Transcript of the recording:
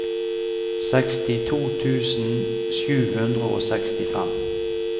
sekstito tusen sju hundre og sekstifem